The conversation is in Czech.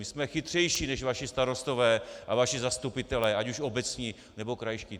My jsme chytřejší než vaši starostové a vaši zastupitelé, ať už obecní, nebo krajští.